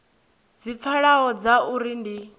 dzi pfalaho dza uri ndi